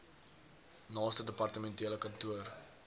naaste departementele kantoor